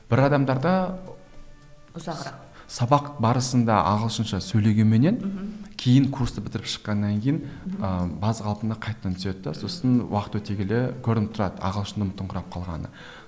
бір адамдарда ұзағырақ сабақ барысында ағылшынша сөйлегенменен мхм кейін курсты бітіріп шыққаннан кейін ыыы баз қалпына қайтадан түседі де сосын уақыт өте келе көрініп тұрады ағылшынын ұмытыңқырап қалғаны